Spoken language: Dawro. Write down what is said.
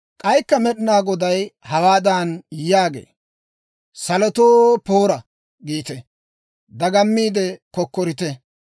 K'aykka Med'inaa Goday hawaadan yaagee; «Salotoo, ‹Poora!› giite; dagammiide kokkorite!